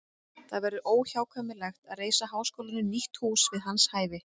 Það verður óhjákvæmilegt að reisa háskólanum nýtt hús við hans hæfi.